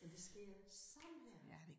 Men det sker sådan her